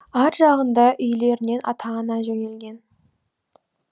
ар жағында үйлерінен ата ана жөнелген